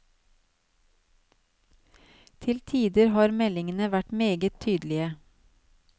Til tider har meldingene vært meget tydelige.